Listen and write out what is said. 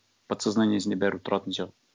подсознаниесінде бәрібір тұратын сияқты